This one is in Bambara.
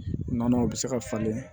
U nana u bɛ se ka falen